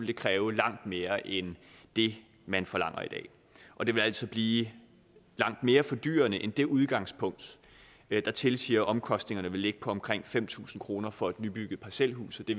det kræve langt mere end det man forlanger i dag og det vil altså blive langt mere fordyrende end det udgangspunkt der tilsiger at omkostningerne vil ligge på omkring fem tusind kroner for et nybygget parcelhus og det